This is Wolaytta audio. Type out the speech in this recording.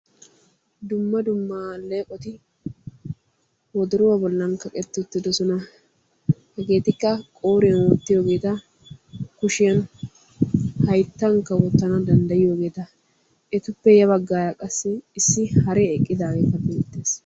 Dumma dumma alleeqoti wodoruwaa bollan kaqetti uttidosona. Hegeetikka qooriyan wottiyoogeeta, kushiyan, hayttankka wottana danddayiyoogeeta. Etuppe ya baggaara qassi issi haree eqqidaageekka beettes.